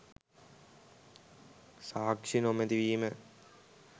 සාක්ෂි නොමැති වීම